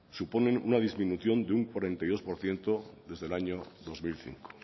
suponen una disminución de un cuarenta y dos por ciento desde el año dos mil cinco